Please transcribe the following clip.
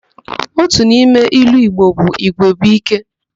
Otu n'ime ilu Igbo bụ 'Igwe bụ íké'.